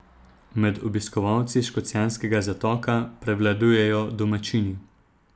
Med obiskovalci Škocjanskega zatoka prevladujejo domačini.